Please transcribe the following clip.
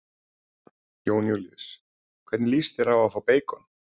Jón Júlíus: Hvernig lýst þér á að fá beikon?